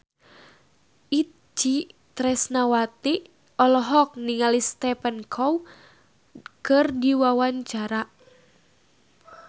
Itje Tresnawati olohok ningali Stephen Chow keur diwawancara